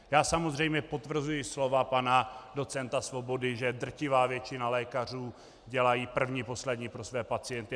Já samozřejmě potvrzuji slova pana docenta Svobody, že drtivá většina lékařů dělá první poslední pro své pacienty.